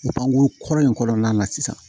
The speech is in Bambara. Bange kɔrɔ in kɔnɔna la sisan